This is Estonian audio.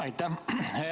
Aitäh!